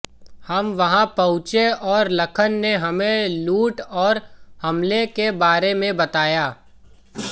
हम वहाँ पहुँचे और लखन ने हमें लूट और हमले के बारे में बताया